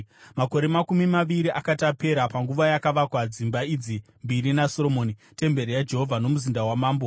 Makore makumi maviri akati apera, panguva yakavakwa dzimba idzi mbiri naSoromoni, temberi yaJehovha nomuzinda wamambo,